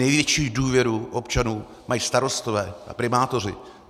Největší důvěru občanů mají starostové a primátoři.